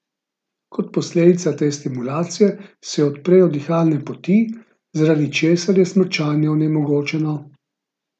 Kot posledica te stimulacije se odprejo dihalne poti, zaradi česar je smrčanje onemogočeno!